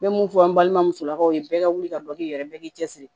N bɛ mun fɔ an balima musolakaw ye bɛɛ ka wuli ka dɔ kɛ yɛrɛ bɛɛ k'i cɛsiri